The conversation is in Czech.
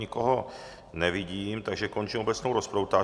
Nikoho nevidím, takže končím obecnou rozpravu.